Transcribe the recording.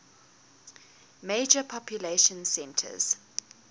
major population centers